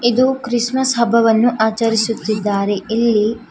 ಇದು ಕ್ರಿಸ್ಮಸ್ ಹಬ್ಬವನ್ನು ಆಚರಿಸುತ್ತಿದ್ದಾರೆ ಇಲ್ಲಿ--